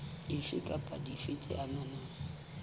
dife kapa dife tse amanang